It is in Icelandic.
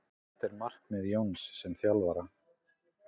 Hvert er markmið Jóns sem þjálfara?